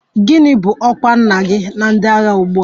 Gịnị bụ ọkwa nna gị na ndị agha ugbu a?